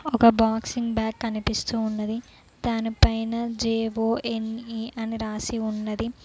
ఒక boxing bag కనిపిస్తూ ఉన్నది దానిపైన జే_ఓ_ఎన్_ఈ అని రాసి ఉన్నది.